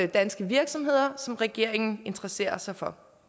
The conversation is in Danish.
danske virksomheder som regeringen interesserer sig for